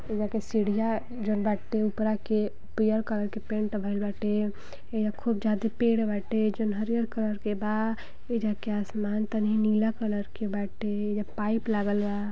एइजा के सीढ़िया जोन बाटे उपरा के पियर कलर के पेंट भईल बाटे। एइजा खूब जादे पेड़ बाटे जोन हरियर कलर के बा। एइजा के आसमान तनी नीला कलर के बाटे। एइजा पाइप लागल बा।